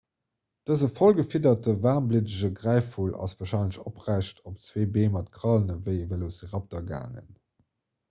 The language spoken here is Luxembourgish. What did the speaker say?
dëse voll gefiederten waarmbliddege gräifvull ass warscheinlech oprecht op zwee bee mat krallen ewéi e velociraptor gaangen